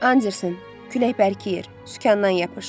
Anderson, külək bərkiyir, sükandan yapış.